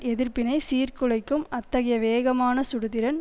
எதிர்ப்பினை சீர்குலைக்கும் அத்தகைய வேகமான சுடுதிறன்